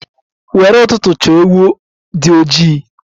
Nwere ụtụtụ chọ ewu di ojii!